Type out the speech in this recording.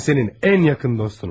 Mən sənin ən yaxın dostunam.